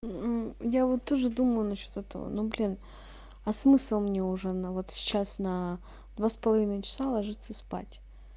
мм я вот тоже думаю насчёт этого ну блин а смысл мне уже на вот сейчас на два с половиной часа ложиться спать